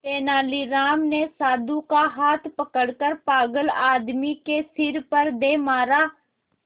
तेनालीराम ने साधु का हाथ पकड़कर पागल आदमी के सिर पर दे मारा